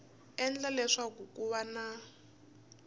endla leswaku ku va na